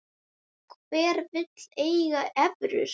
Hver vill eiga evrur?